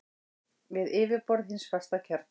við yfirborð hins fasta kjarna.